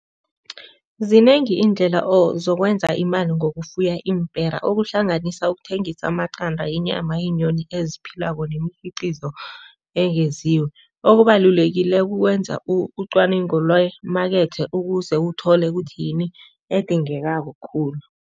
Zinengi iindlela zokwenza imali ngokufuya iimpera okuhlanganisa ukuthengisa amaqanda yenyama yeenyoni eziphilako nemikhiqizo Okubalulekileko ukwenza ucwaningo lwemakethe ukuze uthole ukuthi yini edingekako khulu.